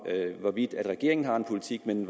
hvorvidt regeringen har en politik men